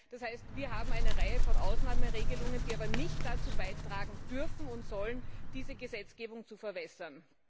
Das heißt, wir haben eine Reihe von Ausnahmeregelungen, die aber nicht dazu beitragen dürfen und sollen, diese Gesetzgebung zu verwässern.